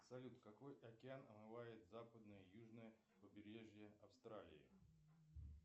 салют какой океан омывает западное и южное побережье австралии